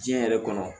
Diɲɛ yɛrɛ kɔnɔ